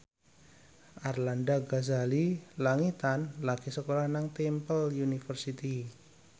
Arlanda Ghazali Langitan lagi sekolah nang Temple University